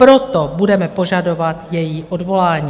Proto budeme požadovat její odvolání.